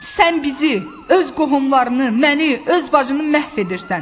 Sən bizi, öz qohumlarını, məni, öz bacını məhv edirsən.